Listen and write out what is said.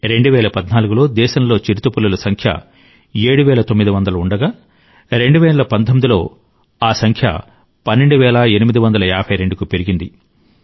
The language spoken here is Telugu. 2014 లో దేశంలో చిరుతపులుల సంఖ్య 7900 ఉండగా 2019 లో వారి సంఖ్య 12852 కు పెరిగింది